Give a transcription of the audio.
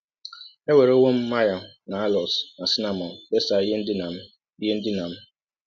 Ewerewọ m myrrh na aloes na cinnamọn fesa ihe ndina m ihe ndina m. ”